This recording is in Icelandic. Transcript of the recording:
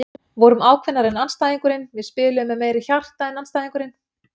Vorum ákveðnari en andstæðingurinn, við spiluðum með meiri hjarta en andstæðingurinn.